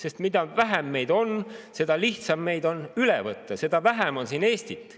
Sest mida vähem meid on, seda lihtsam meid on üle võtta, seda vähem on siin Eestit.